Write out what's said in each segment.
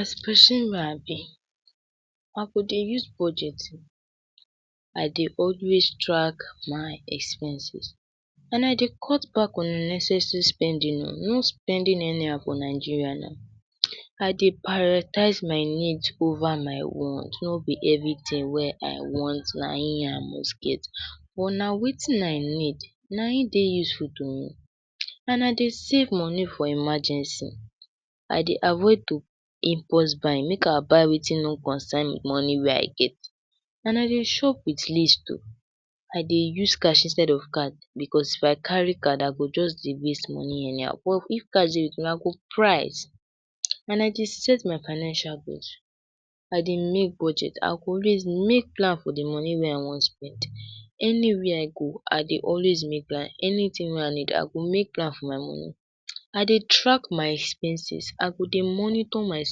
As persin wey I b I go Dey use budget, I Dey always track my expenses and I Dey cut back unnecessary spending o, no spending any how for Nigeria now, I Dey prioritize my need over my want, no be everything wey I want na hin I must get, but na Wetin I need na hin Dey useful to me, and I Dey save money for emergency I dey avoid to impulse buy make I buy wetin no concern money wey I get and I Dey shop wit list o i dey use cash instead of card because if I carry card I go just Dey waste money anyhow, but If cash dey wit me I go price and I Dey set my financial goals, I Dey make budget I go always make plan for d money wey I wan spend, any where I go I Dey always make plan, anytin wey I need I go make plan for my money, I dey track my expenses I go dey monitor my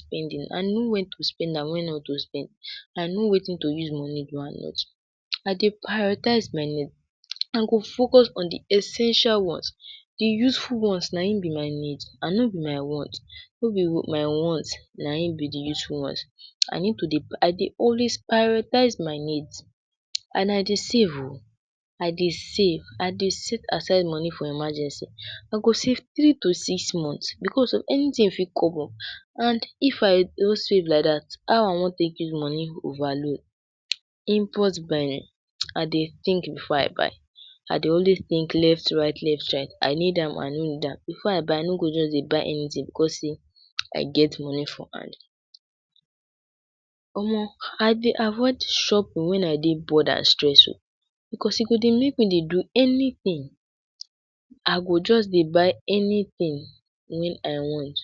spendings and know wen to spend and wen not to spend, I no Wetin to use money do, I dey prioritize my needs I go focus on d essential ones d useful ones na hin b my needs and no b my want, no b my wants na hin b d useful ones, I need to dey I dey always prioritize my needs and I Dey save o I dey save I dey set aside money for emergency, I go save three to six months because anytin fit come up and if I no save like dat, how I wan take get money over load. Impulse buying, I Dey think before I buy, I dey always think left right left right I need am I no need am, before I buy I no go jus dey buy anything because sey I get money for hand, Omo I dey avoid shopping wen I dey bored and stressed o, because e go dey make me dey do anything, I go just dey buy anything wen I want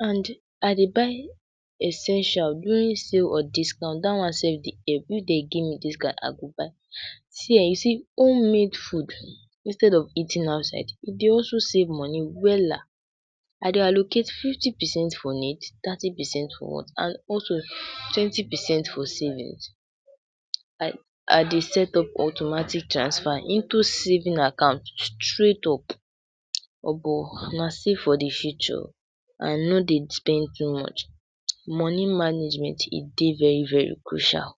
and I dey buy essentials during sales or discount dat one sef dey there, if dem give me discount I go buy, see[um]you see home made food instead of eating outside, e Dey also save money wella, I Dey allocate fifty percent for needs thirty percent for wants and also twenty percent for savings, I Dey set up automatic transfer into saving account straight up Omo na see for d future I no Dey spend too much money management e Dey very very crucial